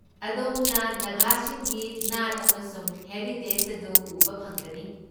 ꯑꯗꯣꯝꯅ ꯅꯥꯒꯥꯁꯤꯡꯒꯤ ꯅꯥꯠ ꯑꯃꯁꯨꯡ ꯍꯦꯔꯤꯇꯦꯖ ꯑꯗꯨ ꯎꯕ ꯐꯪꯒꯅꯤ꯫